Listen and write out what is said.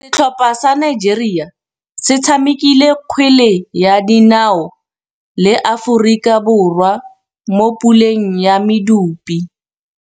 Setlhopha sa Nigeria se tshamekile kgwele ya dinaô le Aforika Borwa mo puleng ya medupe.